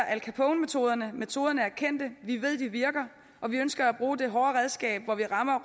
al capone metoderne metoderne er kendte vi ved de virker og vi ønsker at bruge det hårde redskab hvor vi rammer